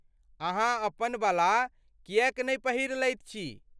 अहाँ अपनबला किएक नहि पहिरि लैत छी?